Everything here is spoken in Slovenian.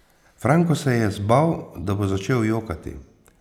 Franko se je zbal, da bo začel jokati.